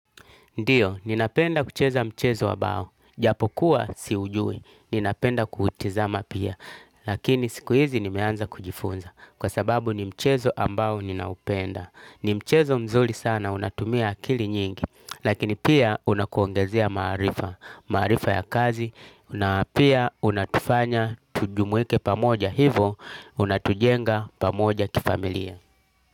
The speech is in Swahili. Ndiyo, ninapenda kucheza mchezo wa bao, japo kuwa siujui, ninapenda kuutizama pia, lakini siku hizi nimeanza kujifunza, kwa sababu ni mchezo ambao ninaupenda. Ni mchezo mzuri sana, unatumia akili nyingi, lakini pia unakuongezea maarifa, maarifa ya kazi, na pia unatufanya tujumuike pamoja hivo, unatujenga pamoja kifamilia.